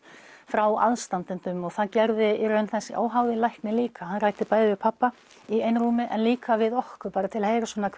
frá aðstandendum og það gerði í raun þessi óháði læknir líka hann ræddi bæði við pabba í einrúmi en líka við okkur bara til að heyra svona